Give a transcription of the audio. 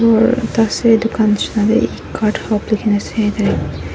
ari ekta ase dukan nishina na tae ecart hub likhina ase.